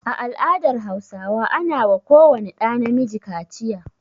A al'adar Hausawa ana wa ko wani ɗa na miji kaciya.